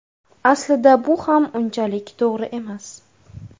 Aslida bu ham unchalik to‘g‘ri emas.